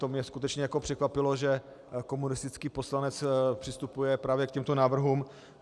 To mě skutečně překvapilo, že komunistický poslanec přistupuje právě k těmto návrhům.